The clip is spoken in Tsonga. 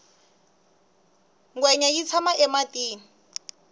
ngwenya yi tshama ematini